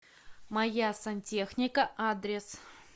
моя сантехника адрес